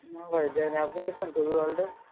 না ভাই যাই নাই আপনি গেছেন ?